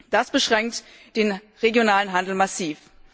Das beschränkt den regionalen Handel massiv.